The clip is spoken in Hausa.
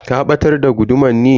Ka batar da guduman ne?